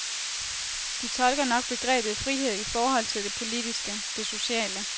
De tolker nok begrebet frihed i forhold til det politiske, det sociale.